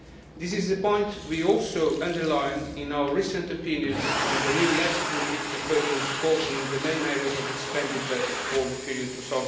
This is a point we also stressed in our recent opinions on the new legislative proposals governing the main areas of expenditure for the period